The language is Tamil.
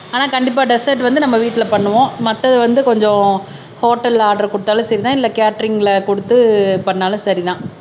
ஆனா கண்டிப்பா டெஸெர்ட் வந்து நம்ம வீட்டிலே பண்ணுவோம் மத்தது வந்து கொஞ்சம் ஹோட்டல்ல ஆர்டர் கொடுத்தாலும் சரிதான் இல்ல கேட்டரிங்ல கொடுத்து பண்ணாலும் சரிதான்